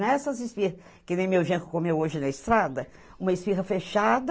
Nessas esfirra, que nem meu genro comeu hoje na estrada, uma esfirra fechada,